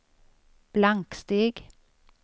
blanksteg